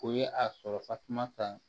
O ye a sɔrɔ tasuma ta